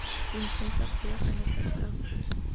dintlheng tsa kgolagano tsa gagwe